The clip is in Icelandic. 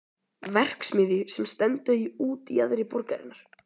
verksmiðju sem stendur í útjaðri borgarinnar.